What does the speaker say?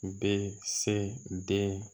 U bɛ se den